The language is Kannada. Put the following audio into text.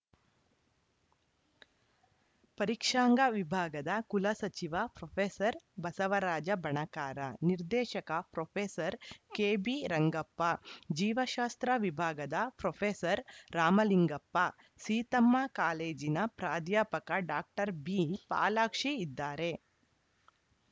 ಪರೀಕ್ಷಾಂಗ ವಿಭಾಗದ ಕುಲಸಚಿವ ಪ್ರೊಫೆಸರ್ ಬಸವರಾಜ ಬಣಕಾರ ನಿರ್ದೇಶಕ ಪ್ರೊಫೆಸರ್ ಕೆಬಿರಂಗಪ್ಪ ಜೀವಶಾಸ್ತ್ರ ವಿಭಾಗದ ಪ್ರೊಫೆಸರ್ ರಾಮಲಿಂಗಪ್ಪ ಸೀತಮ್ಮ ಕಾಲೇಜಿನ ಪ್ರಾಧ್ಯಾಪಕ ಡಾಕ್ಟರ್ ಬಿಪಾಲಾಕ್ಷಿ ಇದ್ದಾರೆ